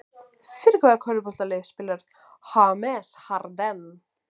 Fyrir hvaða körfuboltalið spilar James Harden?